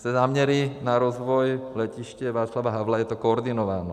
Se záměry na rozvoj Letiště Václava Havla je to koordinováno.